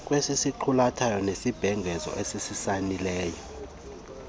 kwesisiqulatho nesibhengezo asisayinileyo